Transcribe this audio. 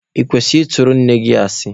Ị kwesịrị ị tụrụ nne gị asị?